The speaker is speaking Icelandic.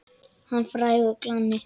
Hann var frægur glanni.